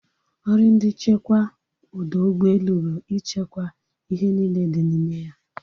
Ọrụ ndị nchekwa ọdọ ụgbọelu bụ i chekwaa ihe niile dị n'ime ya